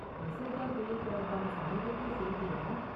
நிசர்கா புயல் தொடர்பான சமீபத்திய செய்தி என்ன?